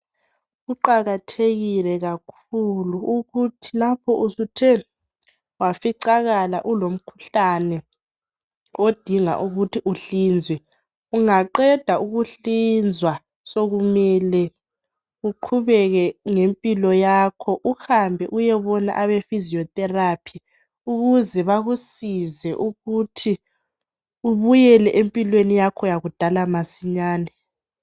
Kuqakathekile kakhulu ukuthi lapho usuthe waficakala kulomkhuhlane odinga ukuthi uhlinzwe ungaqeda ukuhlinzwa sokumele uqhubeke ngempilo yakho uhambe uyebona be physiotherapy ukuze bakusize ukuthi ubuyele empilweni yakho eyakudala masinyane.